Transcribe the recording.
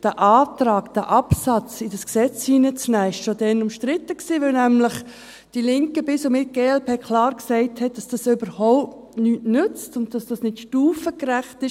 Der Antrag, diesen Absatz in das Gesetz hineinzunehmen, war schon damals umstritten, weil nämlich die Linken bis und mit glp klar sagten, dass dies überhaupt nichts nütze und dass dies nicht stufengerecht sei.